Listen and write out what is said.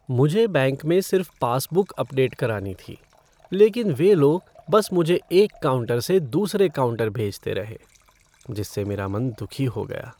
मुझे बैंक में सिर्फ पासबुक अपडेट करानी थी लेकिन वे लोग बस मुझे एक काउंटर से दूसरे काउंटर भेजते रहे जिससे मेरा मन दुखी हो गया।